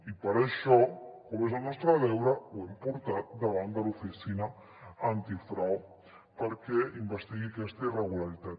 i per això com que és el nostre deure ho hem portat davant de l’oficina antifrau perquè investigui aquesta irregularitat